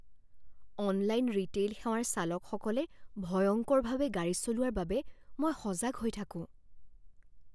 Online retail সেৱাৰ চালকসকলে ভয়ংকৰভাৱে গাড়ী চলোৱাৰ বাবে মই সজাগ হৈ থাকোঁ।